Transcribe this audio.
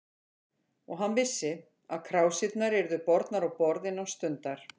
Og hann vissi, að krásirnar yrðu bornar á borð innan stundar.